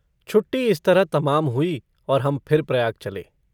छुट्टी इस तरह तमाम हुई और हम फिर प्रयाग चले।